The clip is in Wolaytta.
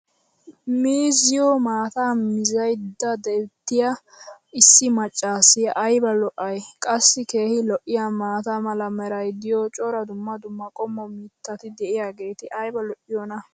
miizziyo maataa mizzaydda beetiya issi macaassiyaa aybba lo'ay! qassi keehi lo'iyaa maata mala meray diyo cora dumma dumma qommo mitati diyaageti ayba lo'iyoonaa?